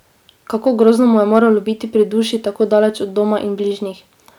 Kako grozno mu je moralo biti pri duši tako daleč od doma in bližnjih!